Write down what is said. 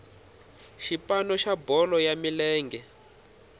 xipano xa bolo ya milenge